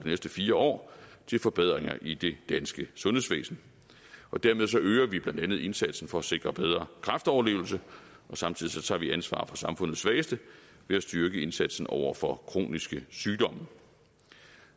næste fire år til forbedringer i det danske sundhedsvæsen dermed øger vi blandt andet indsatsen for at sikre bedre kræftoverlevelse og samtidig tager vi ansvar for samfundets svageste ved at styrke indsatsen over for kroniske sygdomme